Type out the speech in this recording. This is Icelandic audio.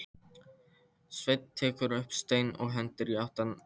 Svenni tekur upp stein og hendir í áttina til þeirra.